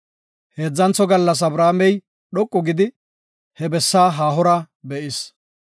Heedzantho gallas Abrahaamey dhoqu gidi, he bessa haahora be7is.